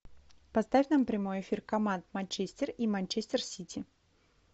поставь нам прямой эфир команд манчестер и манчестер сити